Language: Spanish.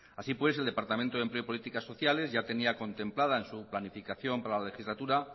así pues el departamento de empleo y políticas sociales tenía contemplada en su planificación para la legislatura